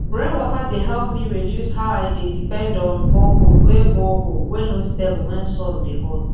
rain water dey help me reduce how i dey depend on borehole wey borehole wey no stable when sun dey hot